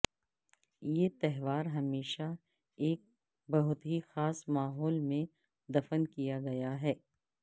یہ تہوار ہمیشہ ایک بہت ہی خاص ماحول میں دفن کیا گیا ہے